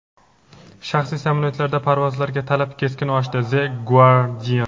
shaxsiy samolyotlarda parvozlarga talab keskin oshdi – "The Guardian".